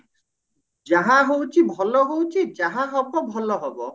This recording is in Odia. ଯାହା ହଉଛି ଭଲ ହଉଛି ଯାହା ହବ ଭଲ ହବ